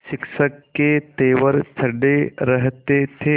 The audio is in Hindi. शिक्षक के तेवर चढ़े रहते थे